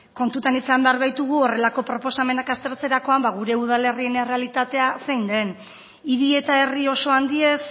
kontutan izan behar baitugu horrelako proposamenak aztertzerakoan gure udalerrien errealitatea zein den hiri eta herri oso handiez